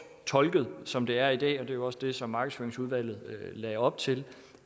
tolket som det er i dag og det var jo også det som markedsføringsudvalget lagde op til